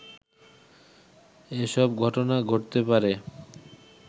এসব ঘটনা ঘটতে পারে